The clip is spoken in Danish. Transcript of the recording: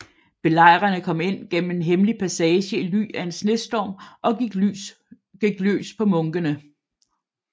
Belejrerne kom ind gennem en hemmelig passage i ly af en snestorm og gik løs på munkene